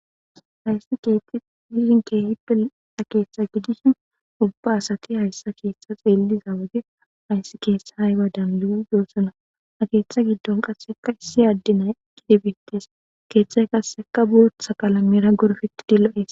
hayssi ketti hishinkehipel keeththa gidishin ubba asati hayssa keeththa xeelli za wage ayssi keessa hayba danlu7u yoossona keeththa giddon qasseka issi addinay qidibintes keeththay qasseka bootha qalamera gorfiti dillo7es